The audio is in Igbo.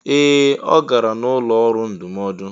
Ee! Ọ gara n'ụlọ ọrụ ndụmọdụ.